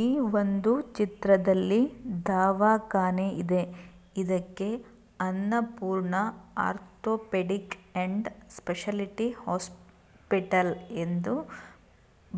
ಈ ಒಂದು ಚಿತ್ರದಲ್ಲಿ ದವಾಕಾನೇ ಇದೆ ಇದಕ್ಕೆ ಅನ್ನಪೂರ್ಣ ಆರ್ಥೋಪೆಡಿಕ್‌ ಸ್ಪೆಷಾಲಿಟಿ ಹಾಸ್ಪಿಟಲ್ ಎಂದು